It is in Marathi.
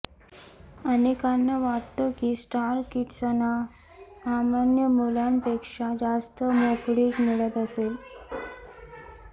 अनेकांना वाटतं की स्टार किड्सना सामान्य मुलांपेक्षा जास्त मोकळीक मिळत असेल